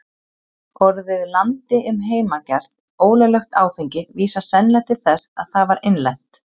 Orðið landi um heimagert, ólöglegt áfengi, vísar sennilega til þess að það var innlent.